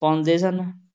ਪਾਉਂਦੇ ਸਨ,